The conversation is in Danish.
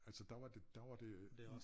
Altså der var det der var det